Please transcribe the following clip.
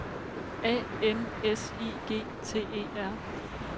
A N S I G T E R